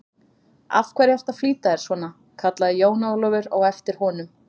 Af hverju ertu að flýta þér svona, kallaði Jón Ólafur á eftir honum.